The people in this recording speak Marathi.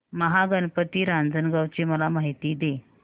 महागणपती रांजणगाव ची मला माहिती दे